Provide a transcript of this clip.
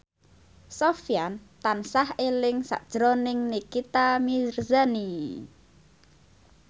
Sofyan tansah eling sakjroning Nikita Mirzani